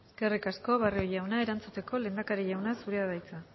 eskerrik asko barrio jauna erantzuteko lehendakari jauna zurea da hitza